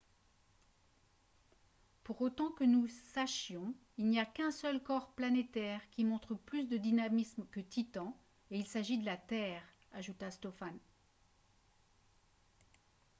pour autant que nous sachions il n’y a qu’un seul corps planétaire qui montre plus de dynamisme que titan et il s’agit de la terre » ajouta stofan